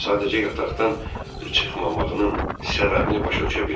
Sadəcə yataqdan çıxmamağının səbəbini başa düşə bilmirəm.